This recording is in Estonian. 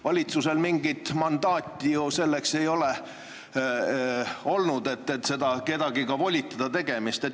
Valitsusel ju polnud mingit mandaati ka selleks, et kedagi volitada seda tegema.